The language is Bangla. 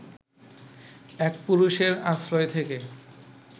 এক পুরুষের আশ্রয় থেকে